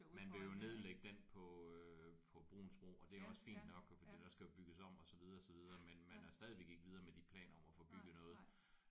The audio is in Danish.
Man vil jo nedlægge den på øh på Bruuns Bro og det er også fint nok fordi der skal jo bygges om og så videre så videre men man er stadigvæk ikke videre om de planer om at få bygget noget